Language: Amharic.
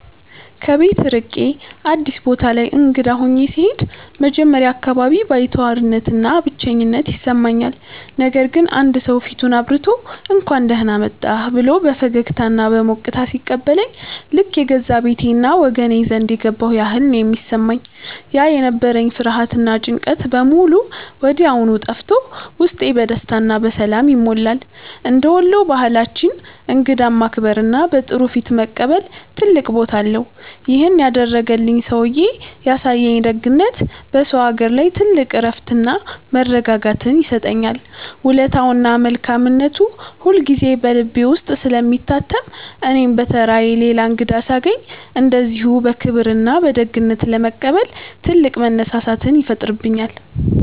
ከቤት ርቄ አዲስ ቦታ ላይ እንግዳ ሆኜ ስሄድ መጀመሪያ አካባቢ ባይተዋርነትና ብቸኝነት ይሰማኛል። ነገር ግን አንድ ሰው ፊቱን አብርቶ፣ «እንኳን ደህና መጣህ» ብሎ በፈገግታና በሞቅታ ሲቀበለኝ ልክ የገዛ ቤቴና ወገኔ ዘንድ የገባሁ ያህል ነው የሚሰማኝ። ያ የነበረኝ ፍርሃትና ጭንቀት በሙሉ ወዲያው ጠፍቶ ውስጤ በደስታና በሰላም ይሞላል። እንደ ወሎ ባህላችን እንግዳን ማክበርና በጥሩ ፊት መቀበል ትልቅ ቦታ አለው። ይሄን ያደረገልኝ ሰውዬ ያሳየኝ ደግነት በሰው አገር ላይ ትልቅ እረፍትና መረጋጋትን ይሰጠኛል። ውለታውና መልካምነቱ ሁልጊዜ በልቤ ውስጥ ስለሚታተም እኔም በተራዬ ሌላ እንግዳ ሳገኝ እንደዚሁ በክብርና በደግነት ለመቀበል ትልቅ መነሳሳትን ይፈጥርብኛል።